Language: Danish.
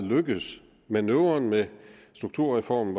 lykkedes manøvren med strukturreformen